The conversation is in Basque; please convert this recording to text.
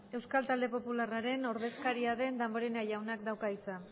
euskal talde popularraren ordezkaria den damborenea jaunak dauka hitza